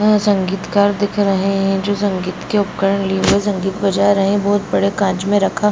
वहाँ संगीतकार दिख रहे हैं जो संगीत के उपकरण लिए हुए संगीत बजा रहे हैं बहोत बड़े काँच मे रखा --